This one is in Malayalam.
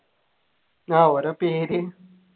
ആഹ് ഓരോ പേര്